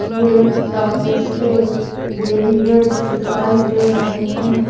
यह एक टॉकीज है बैरीगेट दिखाई दे रहे हैं।